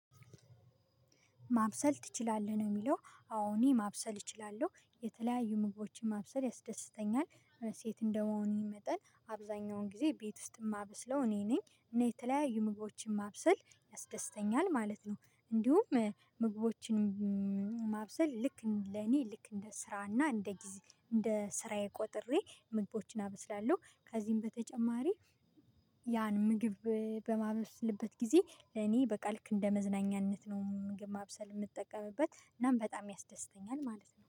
ማብሰል ትችላለህ ነው የሚለው እኔ ማብሰል እችላለሁ። የተለያዩ ምግቦችን ማብሰል ያስደስተኛል ሴት እንደመሆኔ መጠን አብዛኛውን ጊዜ ቤት ውስጥ የማበስለው እኔ ነኝ እና የተለያዩ ምግቦችን ማብሰል ያስደስተኛል ማለት ነው። እንዲሁም ምግቦችን ማብሰል ልክ ለኔ ልክ እንደ ስራና እንደ እንደ ስራዬ ቆጥሬ ምግቦችን አበስላለሁ። ከዚህም በተጨማሪ። ያን ምግብ በማበስልበት ጊዜ እኔ በቃልክ እንደ መዝናኛነት ነው ምግብ ማብሰል የምጠቀምበት እናም በጣም ያስደስተኛል ማለት ነው